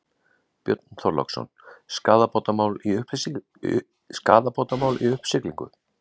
Björn Þorláksson: Skaðabótamál í uppsiglingu?